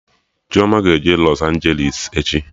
Chioma ga-eje Lọs Anjelis echi